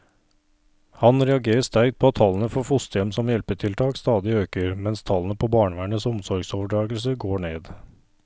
Han reagerer sterkt på at tallene for fosterhjem som hjelpetiltak stadig øker, mens tallene på barnevernets omsorgsoverdragelser går ned.